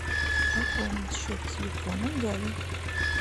пополнить счет телефона гали